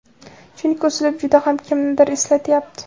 chunki uslub juda ham kimnidir eslatyapti.